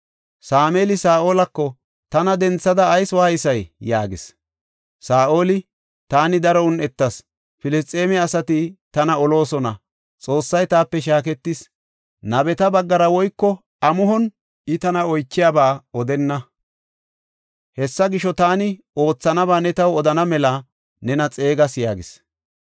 Sameeli Saa7olako, “Tana denthada ayis waaysay?” yaagis. Saa7oli, “Taani daro un7etas; Filisxeeme asati tana oloosona; Xoossay taape shaaketis; nabeta baggara woyko amuhon I taani oychiyaba odenna. Hessa gisho, taani oothanaba ne taw odana mela nena xeegas” yaagis.